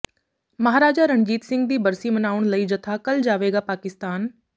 ਮਹਾਰਾਜਾ ਰਣਜੀਤ ਸਿੰਘ ਦੀ ਬਰਸੀ ਮਨਾਉਣ ਲਈ ਜਥਾ ਕੱਲ ਜਾਵੇਗਾ ਪਾਕਿਸਤਾਨ